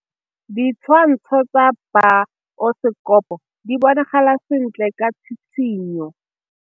Ditshwantshô tsa biosekopo di bonagala sentle ka tshitshinyô.